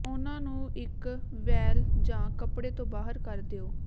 ਉਨ੍ਹਾਂ ਨੂੰ ਇੱਕ ਵੇਲ ਜਾਂ ਕੱਪੜੇ ਤੋਂ ਬਾਹਰ ਕਰ ਦਿਓ